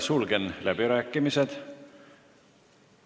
Sulgen läbirääkimised.